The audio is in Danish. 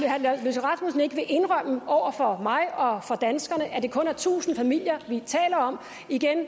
at ikke vil indrømme over for mig og over danskerne at det kun er tusind familier vi taler om